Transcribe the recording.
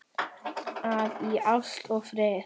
að í ást og friði